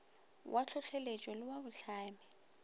wa tlhohleletpo le wa bohlami